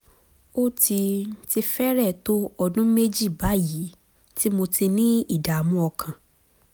ó ti ti fẹ́rẹ̀ẹ́ tó ọdún méjì báyìí tí mo ti ń ní ìdààmú ọkàn